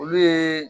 Olu ye